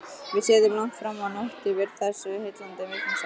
Við sátum langt framá nótt yfir þessu heillandi viðfangsefni.